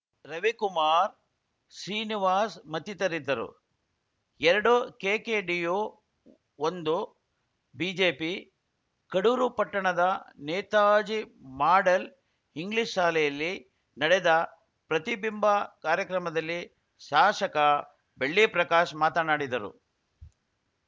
ರವಿಕುಮಾರ್‌ ಶ್ರೀನಿವಾಸ್‌ ಮತ್ತಿತರಿದ್ದರು ಎರಡು ಕೆಕೆಡಿಯು ಒಂದು ಬಿಜೆಪಿ ಕಡೂರು ಪಟ್ಟಣದ ನೇತಾಜಿ ಮಾಡೆಲ್‌ ಇಂಗ್ಲಿಷ್‌ ಶಾಲೆಯಲ್ಲಿ ನಡೆದ ಪ್ರತಿಬಿಂಬ ಕಾರ್ಯಕ್ರಮದಲ್ಲಿ ಸಾಶಕ ಬೆಳ್ಳಿಪ್ರಕಾಶ್‌ ಮಾತನಾಡಿದರು